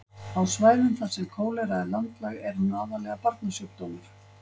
á svæðum þar sem kólera er landlæg er hún aðallega barnasjúkdómur